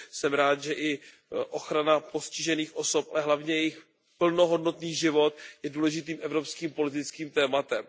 Jsem rád, že i ochrana postižených osob, ale hlavně jejich plnohodnotný život je důležitým evropským politickým tématem.